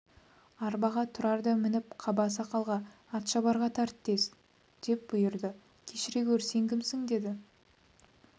арбаға тұрар да мініп қаба сақалға атшабарға тарт тез деп бұйырды кешіре гөр сен кімсің деді